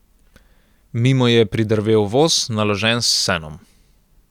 Mimo je pridrvel voz, naložen s senom.